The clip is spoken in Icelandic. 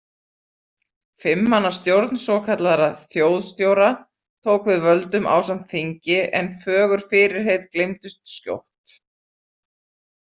Fimm manna stjórn svokallaðra þjóðstjóra tók við völdum ásamt þingi en fögur fyrirheit gleymdust skjótt.